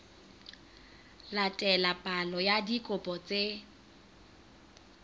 latela palo ya dikopo tse